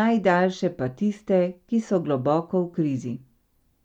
najdaljše pa tiste, ki so globoko v krizi.